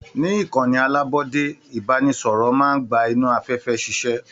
Ní ìkànnì alabọde, ibanisọrọ máa n gbà inú afẹfẹ ṣiṣẹ.